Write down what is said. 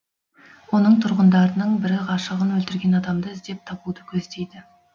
оның тұрғындарының бірі ғашығын өлтірген адамды іздеп табуды көздейді